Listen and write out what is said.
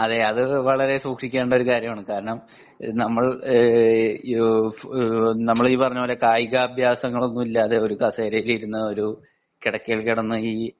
okay അത് വളരെ സൂക്ഷിക്കേണ്ട ഒരു കാര്യമാണ് നമ്മൾ ഈ പറഞ്ഞതുപോലെ കായികാഭ്യാസങ്ങൾ ഒന്നും ഇല്ലാതെ കസേരയിൽ ഇരുന്നു ഒരു കിടക്കയിൽ കിടന്നു